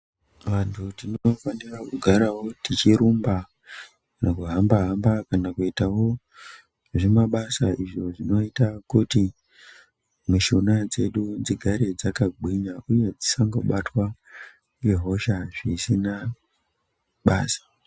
Vantu tinofanawo kugara tichirumba tichihamba-hamba kana kuitawo zvimabasa zvinoita kuti mishuna dzedu dzigare dzakagwinya uye tisangobatwa nehosha zvisina basa.